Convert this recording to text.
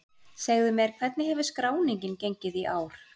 Segðu mér, hvernig hefur skráningin gengið í ár?